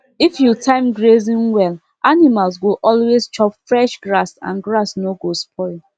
if you time grazing well animals go always chop fresh grass and grass no go spoil